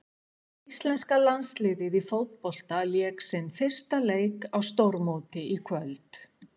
Íslenska landsliðið í fótbolta lék sinn fyrsta leik á stórmóti í kvöld.